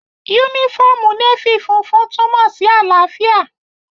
Yúnífọ́ọ̀mù Nééfì funfun túnmọ̀ sí àlàáfíà